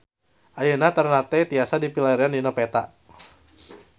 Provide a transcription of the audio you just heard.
Ayeuna Ternate tiasa dipilarian dina peta